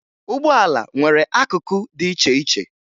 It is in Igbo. Ụgbọala nwere akụkụ dị iche iche